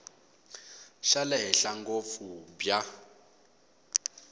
xa le henhla ngopfu bya